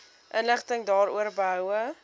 inligting daaroor behoue